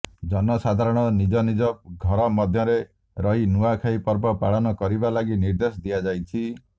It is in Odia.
ଜନସାଧାରଣ ନିଜ ନିଜ ଘର ମଧ୍ୟରେ ରହି ନୂଆଖାଇ ପର୍ବ ପାଳନ କରିବା ଲାଗି ନିର୍ଦ୍ଦେଶ ଦିଆଯାଇଛି